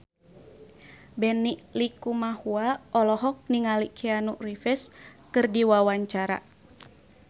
Benny Likumahua olohok ningali Keanu Reeves keur diwawancara